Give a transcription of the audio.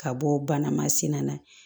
Ka bɔ bana masina na